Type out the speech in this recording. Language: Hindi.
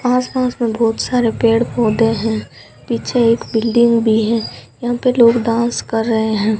आस पास में बहोंत सारे पेड़ पौधे हैं पीछे एक बिल्डिंग भी हैं यहाँ पे लोग डांस कर रहे हैं।